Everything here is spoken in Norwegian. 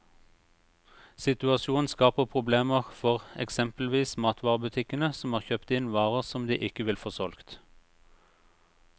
Situasjonen skaper problemer for eksempelvis matvarebutikkene, som har kjøpt inn varer som de ikke vil få solgt.